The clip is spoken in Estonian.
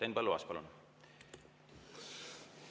Henn Põlluaas, palun!